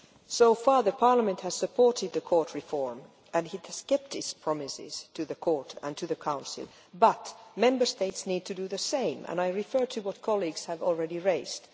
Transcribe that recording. So far Parliament has supported the Court reform and has kept its promises to the Court and to the Council, but Member States need to do the same and I refer to what colleagues have already raised.